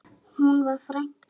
Hún var frænka.